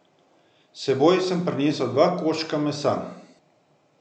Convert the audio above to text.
S seboj sem prinesel dva koščka mesa.